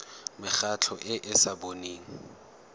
mekgatlho e e sa boneng